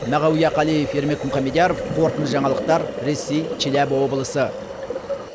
мағауия қалиев ермек мұхамедияров қорытынды жаңалықтар ресей челябі облысы